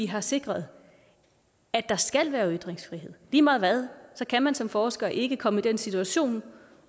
har sikret at der skal være ytringsfrihed lige meget hvad skal man som forsker ikke kunne komme i en situation